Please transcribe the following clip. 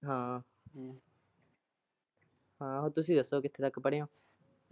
ਹਾ ਹਮ ਤੁਸੀਂ ਦੱਸੋ ਕਿੱਥੇ ਤੱਕ ਪੜੇ ਓ